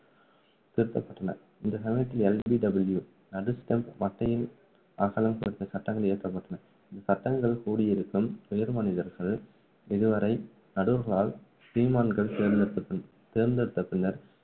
திருத்தப்பட்டன இந்த சமயத்தில் LBW நடு ஸ்டம்ப் மட்டையின் அகலம் குறித்த சட்டங்கள் இயற்றப்பட்டன சட்டங்கள் கூடியிருக்கும் உயர் மனிதர்கள் இருவரை நடுவர்களால் ஸ்ரீமான்கள் தேர்ந்தெடுத் தேர்ந்தெடுத்தபின்னர்